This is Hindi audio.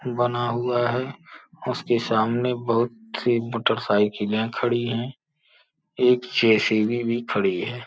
बना हुआ है। उसके सामने बहुत सी मोटरसाइकिले खड़ी हैं। एक जे_सी_बी भी खड़ी है।